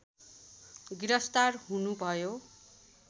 गिरफ्तार हुनुभयो